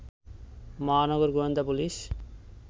মহানগর গোয়েন্দা পুলিশ